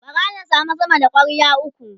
bara na samu sama da kwarya ukwu